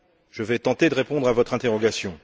je vais tenter de répondre à votre interrogation.